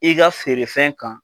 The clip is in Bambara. I ka feerefɛn kan